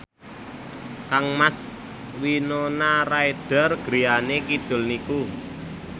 kangmas Winona Ryder griyane kidul niku